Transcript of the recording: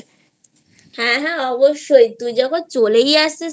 হ্যাঁ হ্যাঁ অবশ্যই তুই যখন চলেই আসছিস